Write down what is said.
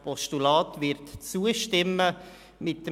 Auch der Sprechende gehört dazu.